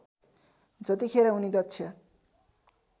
जतिखेर उनी दक्ष